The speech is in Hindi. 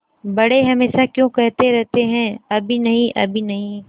बड़े हमेशा क्यों कहते रहते हैं अभी नहीं अभी नहीं